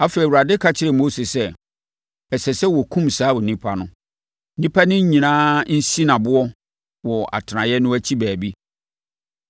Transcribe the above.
Afei, Awurade ka kyerɛɛ Mose sɛ, “Ɛsɛ sɛ wɔkum saa onipa no. Nnipa no nyinaa nsi no aboɔ wɔ atenaeɛ no akyi baabi.”